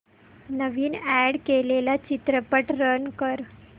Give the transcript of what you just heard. नवीन add केलेला चित्रपट run कर